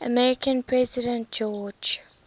american president george